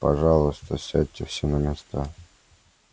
пожалуйста сядьте все на места